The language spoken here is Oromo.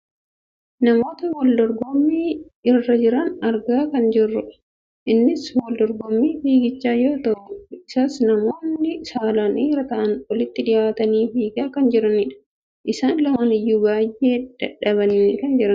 namoota waldorgommii irra jiran argaa kan jirrudha. innis wal dorgommii fiigichaa yoo ta'u isas namoonni saalaan dhiira ta'an, walitti dhiyaatanii fiigaa kan jiranidha. isaan lamaan iyyuu baayyee dadhabanii kan jiranidha.